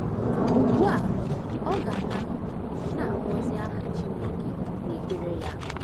Ugbu a ọ ga na - na - akpọzi aha Chineke n’ekpere ya!